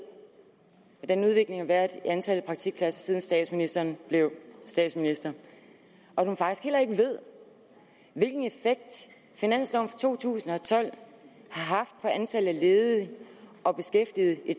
hvordan udviklingen har været i antallet af praktikpladser siden statsministeren blev statsminister og at hun faktisk heller ikke ved hvilken effekt finansloven for to tusind og tolv har haft på antallet af ledige og beskæftigede i